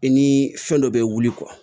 I ni fɛn dɔ bɛ wuli